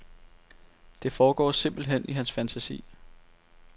Det foregår simpelt hen i hans fantasi.